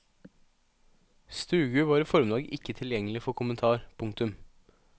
Stugu var i formiddag ikke tilgjengelig for kommentar. punktum